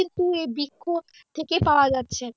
কিন্তু এই বৃক্ষ থেকে পাওয়া যাচ্ছে।